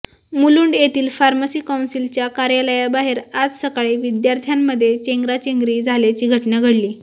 मुलुंड येथील फार्मसी कौन्सिलच्या कार्यालयाबाहेर आज सकाळी विद्यार्थ्यांमध्ये चेंगराचेंगरी झाल्याची घटना घडली